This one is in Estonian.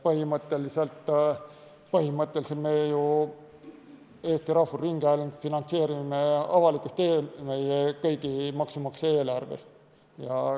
Põhimõtteliselt me ju Eesti Rahvusringhäälingut finantseerime avalikust eelarvest, kõigi maksumaksjate eelarvest.